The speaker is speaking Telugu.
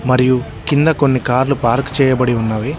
మరియు కింద కొన్ని కార్లు పార్క్ చేయబడి ఉన్నవి.